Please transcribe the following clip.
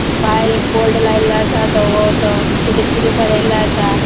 भायर एक बोर्ड लायल्लो असा धवोंसों तजेर किते बरेल्ले असा.